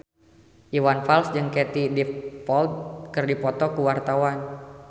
Iwan Fals jeung Katie Dippold keur dipoto ku wartawan